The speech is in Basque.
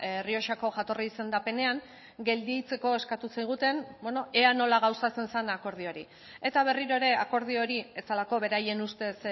errioxako jatorri izendapenean gelditzeko eskatu ziguten ea nola gauzatzen zen akordio hori eta berriro ere akordio hori ez zelako beraien ustez